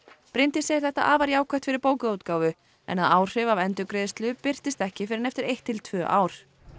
Bryndís segir þetta afar jákvætt fyrir bókaútgáfu en að áhrif af endurgreiðslu birtist ekki fyrr en eftir eitt til tvö ár